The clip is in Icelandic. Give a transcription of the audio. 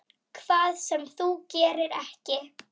Hvað sem þú gerir, ekki.